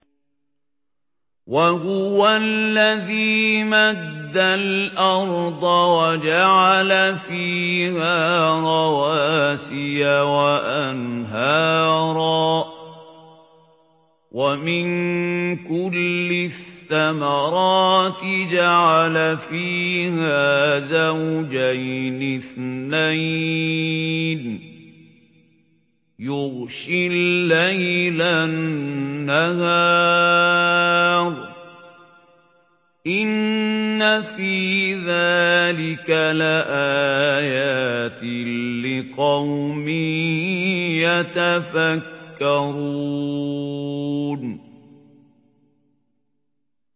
وَهُوَ الَّذِي مَدَّ الْأَرْضَ وَجَعَلَ فِيهَا رَوَاسِيَ وَأَنْهَارًا ۖ وَمِن كُلِّ الثَّمَرَاتِ جَعَلَ فِيهَا زَوْجَيْنِ اثْنَيْنِ ۖ يُغْشِي اللَّيْلَ النَّهَارَ ۚ إِنَّ فِي ذَٰلِكَ لَآيَاتٍ لِّقَوْمٍ يَتَفَكَّرُونَ